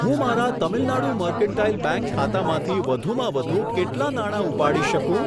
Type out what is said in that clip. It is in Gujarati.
હું મારા તમિલનાડુ મર્કન્ટાઈલ બેંક ખાતામાંથી વધુમાં વધુ કેટલા નાણા ઉપાડી શકું?